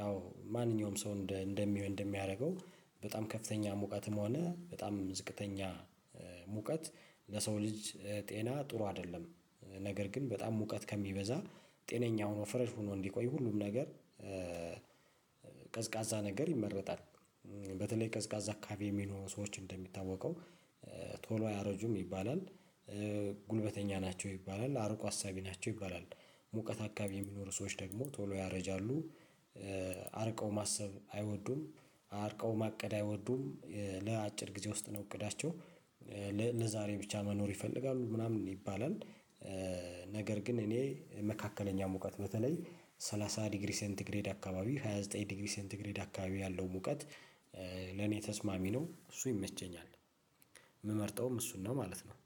ያው ማንኛውም ሰው እንደሚሆን እንደሚያደርገው በጣም ከፍተኛ ሙቀትም ሆነ በጣም ዝቅተኛ ሙቀት ለሰው ልጅ ጤና ጥሩ አይደለም። ነገር ግን በጣም ሙቀት ከሚበዛ ጤነኛ ሆኖ ፍረሽ ሆኖ እንዲቆይ ሁሉም ነገር ቀዝቃዛ ነገር ይመረጣል። በተለይ ቀዝቃዛ አካባቢ የሚኖሩ ሰዎች እንደሚታወቀው ቶሎ አያረጁም ይባላል። ጉልበተኛ ናቸው። ይባላል አርቆ አሳቢ ናቸው። ይባላል ሙቀት አካባቢ የሚኖሩ ሰዎች ደግሞ ቶሎ ያረጃሉ። አርቀው ማሰብ አይወዱም። አርቀው ማቀድ አይወዱም። ለአጭር ጊዜ ውስጥ ነው እቅዳቸው ለዛሬ ብቻ መኖር ይፈልጋሉ ምናምን ይባላል። ግን እኔ መካከለኛ ሙቀት በተለይ ሰላሳ ዲግሪ ሴንት ግሬድ አካባቢ ሃያ ዘጠኝ ዲግሪ ሴንት ሴንቲግሪድ አካባቢ ያለው ሙቀት ለኔ ተስማሚ ነው። እሱ ይመቸኛል የምመርጠውም እሱን ነው ማለት ነው